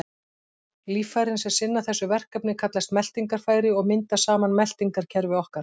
Líffærin sem sinna þessu verkefni kallast meltingarfæri og mynda saman meltingarkerfi okkar.